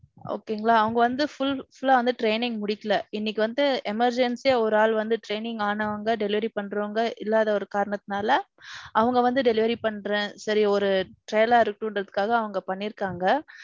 okay ங்களா அவங்க வந்து full full லா வந்து training முடிக்கல. இன்னிக்கு வந்து emergency யா ஒரு ஆள் வந்து training ஆனவங்க delivery பண்றவங்க இல்லாத ஒரு காரத்தினால, அவங்க வந்து delivery பண்றே, சரி ஒரு trial ஆ இருக்கட்டுங்கிறதுக்காக அவங்க பண்ணியிருக்காங்க.